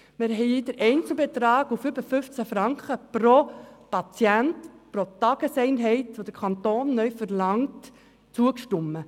Wir haben dem Einzelbetrag von über 15 Franken pro Patient und Tageseinheit, welchen der Kanton neu verlangt, zugestimmt.